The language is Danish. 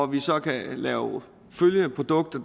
vi så kan lave følgeprodukter